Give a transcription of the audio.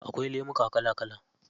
Akwai lemuka kala kala.